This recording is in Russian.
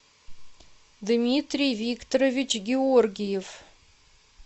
дмитрий викторович георгиев